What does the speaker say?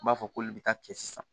I b'a fɔ k'olu bɛ taa cɛ sisan